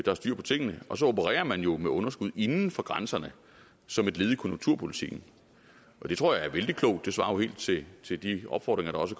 er styr på tingene og så opererer man jo med underskud inden for grænserne som et led i konjunkturpolitikken det tror jeg er vældig klogt det svarer jo helt til til de opfordringer der også